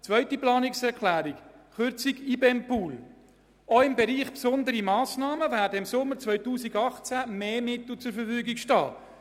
Zur zweiten Planungserklärung, Kürzung des IBEM-Pools: Auch im Bereich «Besondere Massnahmen» werden im Sommer 2018 mehr Mittel zur Verfügung stehen.